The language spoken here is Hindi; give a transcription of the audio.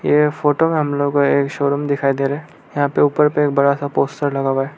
यह फोटो में हम लोगों को एक शोरूम दिखाई दे रहा है यहां पे ऊपर पे एक बड़ा सा पोस्टर लगा हुआ है।